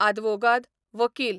आदवोगाद, वकील